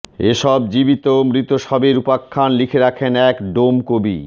এসব জীবিত ও মৃত শবের উপখ্যান লিখে রাখেন এক ডোমকবি